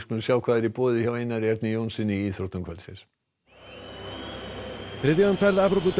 sjá hvað er í boði hjá Einari Erni Jónssyni í íþróttum kvöldsins þriðja umferð